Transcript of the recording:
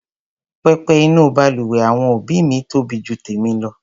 Pẹpẹ inú balùwẹ̀ àwọn òbí mi tóbi ju tèmi lọ.